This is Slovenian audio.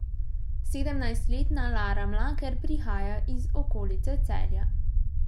Sedemnajstletna Lara Mlaker prihaja iz okolice Celja.